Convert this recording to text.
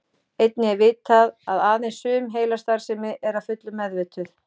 Einnig er vitað að aðeins sum heilastarfsemi er að fullu meðvituð.